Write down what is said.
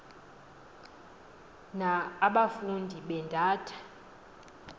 na abafundi beendata